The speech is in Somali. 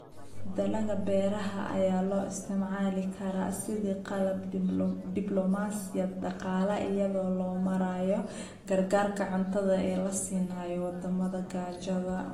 Dalagga beeraha ayaa loo isticmaali karaa sidii qalab dibloomaasiyad dhaqaale iyada oo loo marayo gargaarka cuntada ee la siinayo waddamada gaajada.